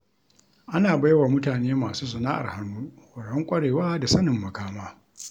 Ana baiwa mutane masu sana'ar hannu horon ƙwarewa da sanin makama.